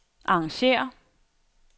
arrangér